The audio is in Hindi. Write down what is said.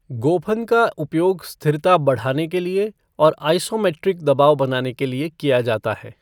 गोफन का उपयोग स्थिरता बढ़ाने के लिए और आइसोमेट्रिक दबाव बनाने के लिए किया जाता है।